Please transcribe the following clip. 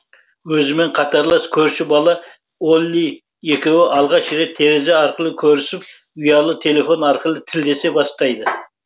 өзімен қатарлас көрші бала олли екеуі алғаш рет терезе арқылы көрісіп ұялы телефон арқылы тілдесе бастайды